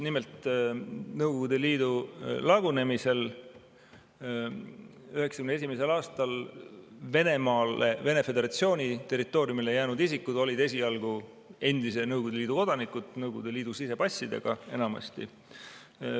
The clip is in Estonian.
Nimelt, Nõukogude Liidu lagunemisel 1991. aastal Venemaa Föderatsiooni territooriumile jäänud isikud olid esialgu endise Nõukogude Liidu kodanikud, Nõukogude Liidu sisepassidega enamasti.